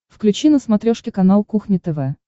включи на смотрешке канал кухня тв